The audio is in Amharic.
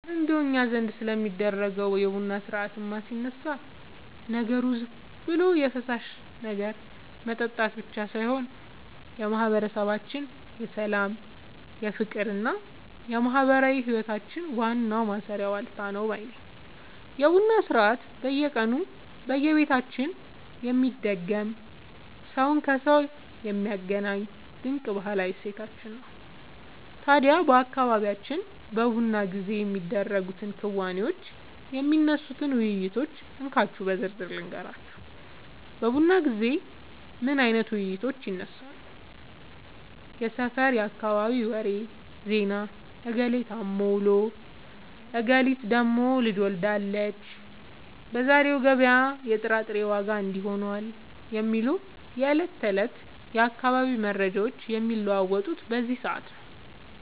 እረ እንደው እኛ ዘንድ ስለሚደረገው የቡና ሥርዓትማ ሲነሳ፣ ነገሩ ዝም ብሎ የፈሳሽ ነገር መጠጣት ብቻ ሳይሆን የማህበረሰባችን የሰላም፣ የፍቅርና የማህበራዊ ህይወታችን ዋናው ማሰሪያ ዋልታ ነው ባይ ነኝ! የቡና ሥርዓት በየቀኑ በየቤታችን የሚደገም፣ ሰውን ከሰው የሚያገናኝ ድንቅ ባህላዊ እሴታችን ነው። ታዲያ በአካባቢያችን በቡና ጊዜ የሚደረጉትን ክንዋኔዎችና የሚነሱትን ውይይቶች እንካችሁ በዝርዝር ልንገራችሁ፦ በቡና ጊዜ ምን አይነት ውይይቶች ይነሳሉ? የሰፈርና የአካባቢ ወሬ (ዜና)፦ "እገሌ ታሞ ውሏል፣ እገሊት ደግሞ ልጅ ወልዳለች፣ በዛሬው ገበያ ላይ የጥራጥሬ ዋጋ እንዲህ ሆኗል" የሚሉ የዕለት ተዕለት የአካባቢው መረጃዎች የሚለዋወጡት በዚህ ሰዓት ነው።